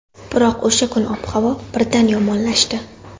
Biroq o‘sha kuni ob-havo birdan yomonlashdi.